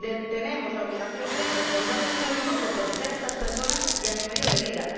Tenemos la obligación, como responsables públicos, de proteger a estas personas y su medio de vida.